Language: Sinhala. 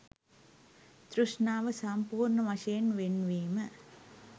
තෘෂ්ණාව සම්පූර්‍ණ වශයෙන් වෙන්වීම